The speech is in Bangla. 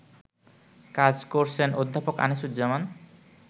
কাজ করছেন অধ্যাপক আনিসুজ্জামান